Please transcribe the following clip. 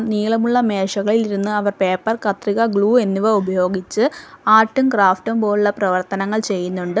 നീളമുള്ള മേശകളിൽ ഇരുന്ന് അവർ പേപ്പർ കത്രിക ഗ്ലൂ എന്നിവ ഉപയോഗിച്ച് ആർട്ടും ക്രാഫ്റ്റും പോലെയുള്ള പ്രവർത്തനങ്ങൾ ചെയുന്നുണ്ട്.